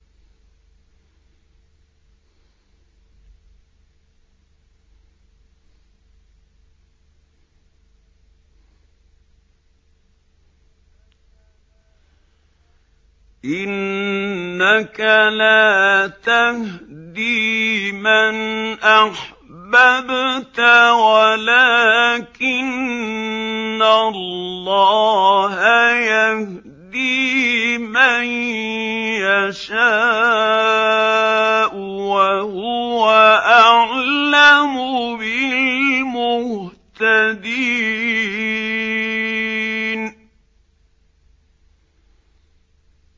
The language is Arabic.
إِنَّكَ لَا تَهْدِي مَنْ أَحْبَبْتَ وَلَٰكِنَّ اللَّهَ يَهْدِي مَن يَشَاءُ ۚ وَهُوَ أَعْلَمُ بِالْمُهْتَدِينَ